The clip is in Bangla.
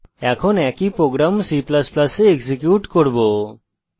এখন একই program c ++ we execute করব